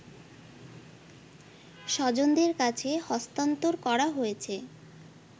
স্বজনদের কাছে হস্তান্তর করা হয়েছে